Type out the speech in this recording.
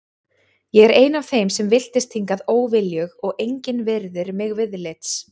Ég er ein af þeim sem villtist hingað óviljug og engin virðir mig viðlits.